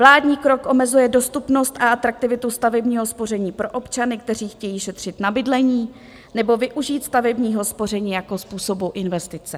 Vládní krok omezuje dostupnost a atraktivitu stavebního spoření pro občany, kteří chtějí šetřit na bydlení nebo využít stavebního spoření jako způsobu investice.